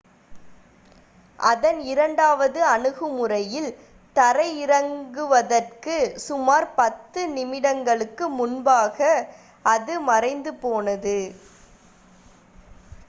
அதன் இரண்டாவது அணுகுமுறையில் தரையிறங்குவதற்கு சுமார் பத்து நிமிடங்களுக்கு முன்பாக அது மறைந்து போனது